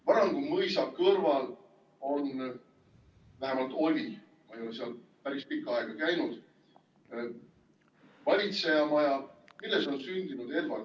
Varangu mõisa kõrval on, vähemalt oli, ma ei ole seal päris pikka aega seal käinud, valitsejamaja, milles on sündinud Eduard Wiiralt.